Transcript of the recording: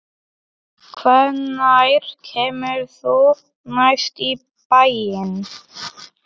Hvenær kemurðu næst í bæinn?